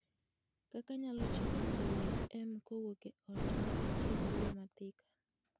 kaka anyalo chopo trm kowuok e ot maa ka atiyo gi yo ma Thika